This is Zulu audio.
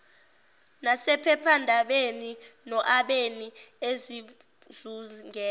nasephephandabeni noabeni ezizungeza